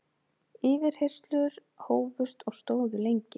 Yfirheyrslur hófust og stóðu lengi.